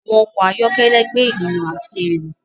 Àwọn ọkọ ayọkẹlẹ gbé ènìyàn àti ẹru.